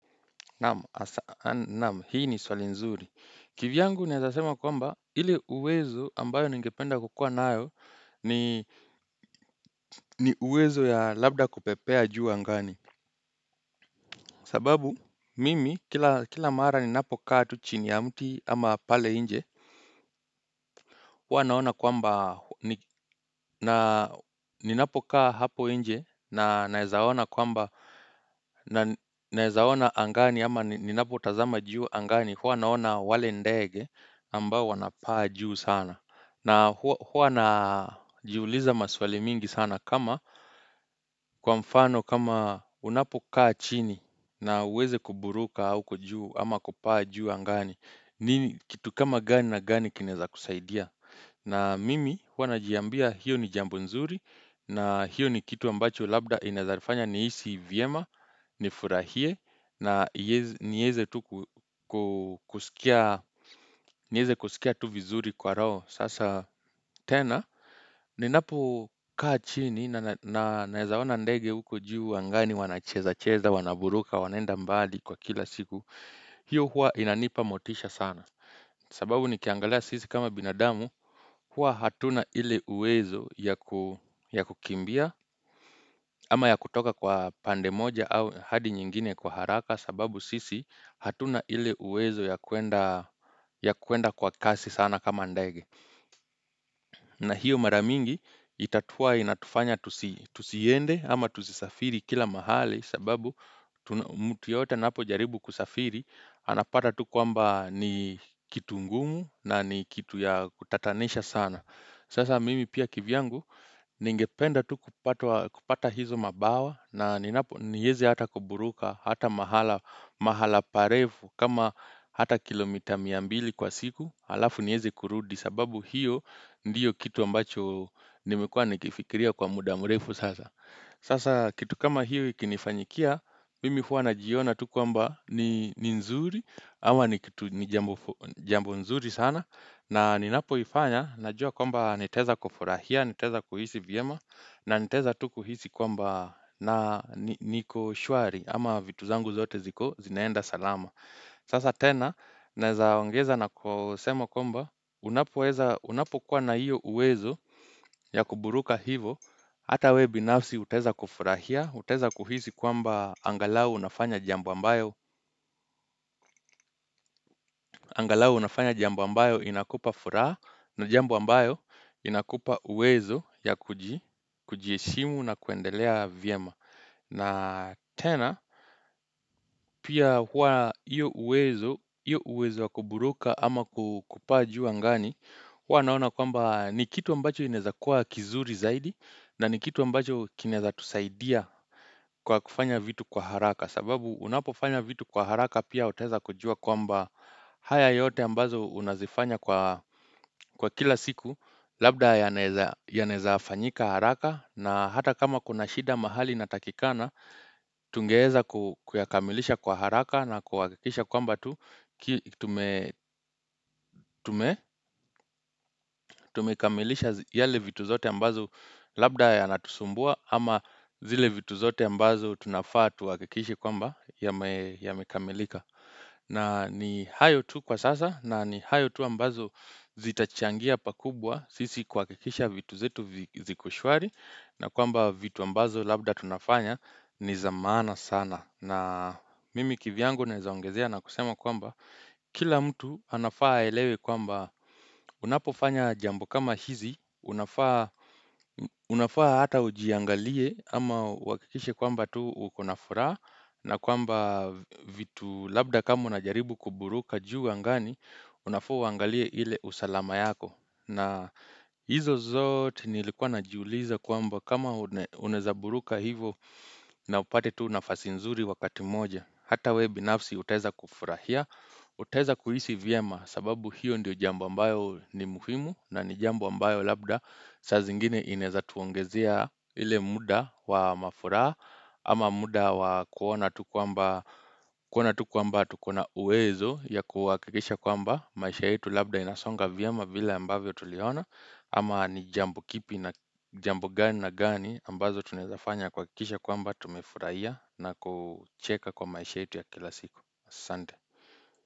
Naam, hii ni swali nzuri. Kivyangu niazasema kwamba ili uwezo ambayo ningependa kukua nayo ni uwezo ya labda kupepea juu angani. Sababu, mimi, kila mara ninapokaa tuchini ya mti ama pale inje, huwa naona kwamba ni napokaa hapo nje na naeza ona kwamba naezawona angani ama ninapotazama juu angani huwa naona wale ndege ambao wanapaa juu sana. Na huwa na jiuliza maswale mingi sana kama kwa mfano kama unapokaa chini na uweze kuburuka au kujuu ama kupaa juu angani. Kitu kama gani na gani kineza kusaidia. Na mimi hua najiambia hiyo ni jambu nzuri na hiyo ni kitu ambacho labda inazarifanya ni vyema ni furahie na nieze kusikia tu vizuri kwa roho sasa tena. Ninapo kaa chini na naezaona ndege uko juu angani wanacheza cheza wanaburuka wanenda mbali kwa kila siku. Hiyo huwa inanipa motisha sana. Sababu nikiangalea sisi kama binadamu huwa hatuna ile uwezo ya kukimbia ama ya kutoka kwa pande moja au hadi nyingine kwa haraka sababu sisi hatuna ile uwezo ya kuenda kwa kasi sana kama ndege. Na hiyo mara mingi itatuwa inatufanya tusiende ama tusisafiri kila mahali sababu mt yota napo jaribu kusafiri anapata tuku amba ni kitu ngumu na ni kitu ya kutatanesha sana. Sasa mimi pia kivyangu ningependa tukupata hizo mabawa na ninapo nieze hata kuburuka hata mahala parefu kama hata kilomita mia mbili kwa siku alafu nieze kurudi sababu hiyo ndiyo kitu ambacho nimekua nikifikiria kwa muda mrefu sasa. Sasa kitu kama hiyo ikinifanyikia, mimi huwa na jiona tu kwamba ni nzuri ama ni kitu jambo nzuri sana na ninapo ifanya, najua kwamba niteza kufurahia, niteza kuhisi vyema na niteza tu kuhisi kwamba na niko shwari ama vitu zangu zote ziko zinaenda salama Sasa tena, neza wangeza na kusemo komba, unapokuwa na iyo uwezo ya kuburuka hivo, ata wee binafsi uteza kufurahia, uteza kuhisi kwamba angalau unafanya jambo ambayo inakupa furaha na jambu ambayo inakupa uwezo ya kujiheshimu na kuendelea vyema. Na tena, pia hua iyo uwezo wakuburuka ama kupaa juu ngani, hua naona kwamba ni kitu ambacho ineza kuwa kizuri zaidi na ni kitu ambacho ineza tusaidia kwa kufanya vitu kwa haraka. Sababu unapofanya vitu kwa haraka pia oteza kujua kwamba haya yote ambazo unazifanya kwa kila siku labda ya nezaa fanyika haraka na hata kama kuna shida mahali na takikana tungeeza kuyakamilisha kwa haraka na kuhakikisha kwamba tu tumekamilisha yale vitu zote ambazo labda ya natusumbua ama zile vitu zote ambazo tunafaa tuakikishi kwamba ya kamilika na ni hayo tu kwa sasa na ni hayo tu ambazo zitachangia pakubwa sisi kwa kikisha vitu zetu ziko shwari na kwamba vitu ambazo labda tunafanya ni zamana sana. Na mimi kivyango nezaongezea na kusema kwamba kila mtu anafaa elewe kwamba unapofanya jambo kama hizi, unafaa hata ujiangalie ama wakikishe kwamba tu ukona furaha na kwamba vitu labda kama unajaribu kuburuka juu angani, unafaa uangalie ile usalama yako. Na hizo zote nilikuwa na juu liza kuamba kama unezaburuka hivo na upate tu nafasi nzuri wakati moja ata wee binafsi uteza kufurahia, uteza kuhisi vyema sababu hiyo ndio jambu ambayo ni muhimu na ni jambu ambayo labda Sazi ingine ineza tuongezia ile muda wa mafuraha ama muda wa kuona tukuamba tukuona uwezo ya kuwakikisha kuamba maisha hitu labda inasonga vyama vila ambavyo tuliona ama ni jambo kipi na jambu gani na gani ambazo tunezafanya kwa kisha kwamba tumefuraia na kucheka kwa maisha hitu ya kila siku Sante.